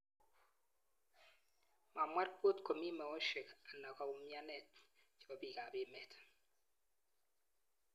Mamwaa ripot komii meoshrk anan koumyanet chepo piik ap emeet